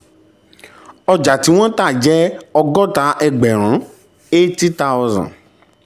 ọjà tí wọ́n tà jẹ́ ọgọ́ta ẹgbẹ̀rún eighty thousand.